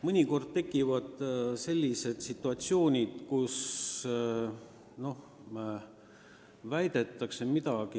Mõnikord tekivad sellised situatsioonid, kus kellegi väidetu kahtluse alla satub.